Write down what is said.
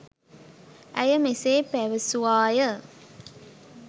ඇය මෙසේ පැවැසුවාය.